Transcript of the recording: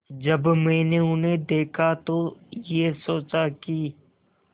जब मैंने उन्हें देखा तो ये सोचा कि